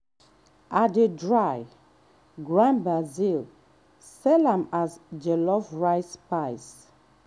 i dey dry grind basil sell am as jollof rice spice.